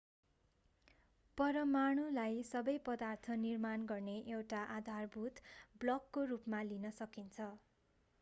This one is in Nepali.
परमाणुलाई सबै पदार्थ निर्माण गर्ने एउटा आधारभूत ब्लकको रूपमा लिन सकिन्छ